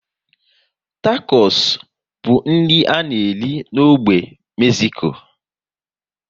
Takos bụ nri a na-ere n'ógbè n'Mezico